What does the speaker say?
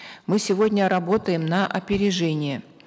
мы сегодня работаем на опережение